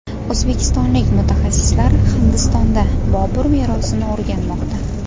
O‘zbekistonlik mutaxassislar Hindistonda Bobur merosini o‘rganmoqda.